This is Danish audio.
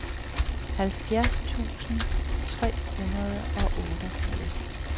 halvfjerds tusind tre hundrede og otteogfirs